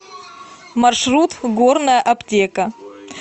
маршрут горная аптека